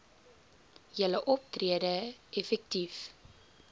julle optrede effektief